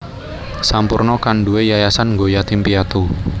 Sampoerna kan nduwe yayasan nggo yatim piatu